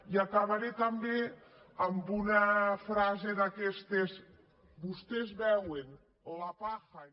i acabaré també amb una frase d’aquestes vostès veuen la paja en